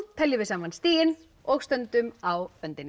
teljum við saman stigin og stöndum á öndinni